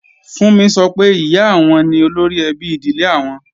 Fúnmi sọ pé, Ìyá àwọn ni olóríẹbí ìdílé àwọn